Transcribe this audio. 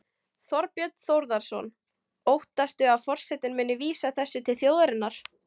Þorbjörn Þórðarson: Óttastu að forsetinn muni vísa þessu til þjóðarinnar?